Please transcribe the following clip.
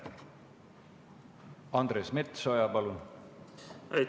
Andres Metsoja, palun!